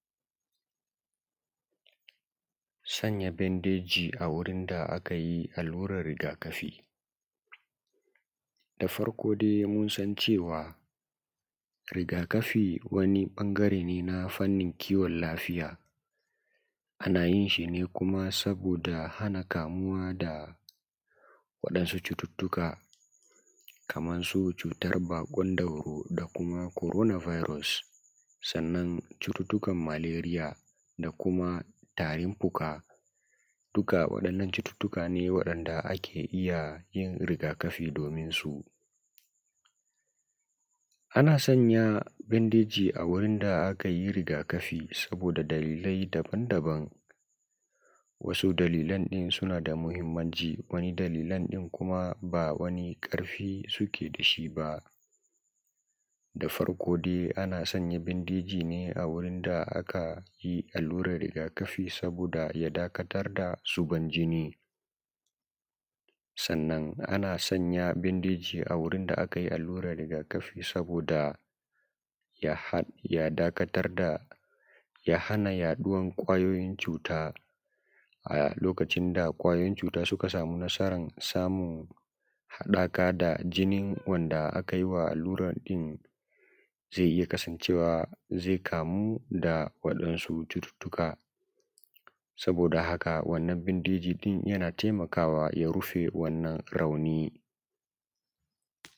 Sanya bandeji a wurin da aka yi allurar rigakafi da farko dai mun san cewa rigakafi wani ɓangare ne na fannin kiwon lafiya ana yin shi ne kuma saboda hana kamuwa da waɗansu cututtuka kaman su cutar baƙon dauro da kuma corona virus sannan cututtukan malariya da kuma tarin-fuƙa dukka waɗannan cututtuka ne waɗanda ake iya yin rigakafi domin su ana sanya bandeji a wurin da akayi rigakafi saboda dalilai da daban-daban wasu dalilan ɗin suna da muhimmanci wani dalilai ɗin kuma ba wani ƙarfi suke da shi ba da farko dai ana sanya bandeji ne a wurin da aka yi allurar rigakafi saboda ya dakatar da zuban jini sannan ana sanya bandeji a wajen da akayi allurar rigakafi saboda ya hana yaɗuwar kwayoyin cuta a lokacin da kwayoyin cuta suka samu nasarar samun haɗaka da jinin wanda akayi wa allurar ɗin zai iya kasancewa zai kamu da waɗansu cututtuka saboda haka wannan bandeji ɗin yana taimakawa ya rufe wannan rauni